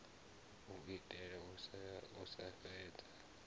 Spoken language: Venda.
u itela u sa fhedza